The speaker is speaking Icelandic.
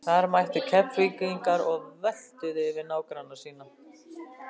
Þar mættu Keflvíkingar og völtuðu yfir nágranna sína.